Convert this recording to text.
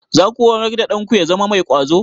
Za ku horar da ɗanku ya zama mai ƙwazo?